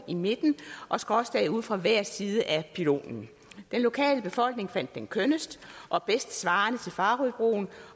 i midten og skråstag ud fra hver side af pylonen den lokale befolkning fandt den kønnest og bedst svarende til farøbroen